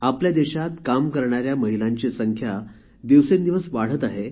आपल्या देशात काम करणाऱ्या महिलांची संख्या दिवसेंदिवस वाढत आहे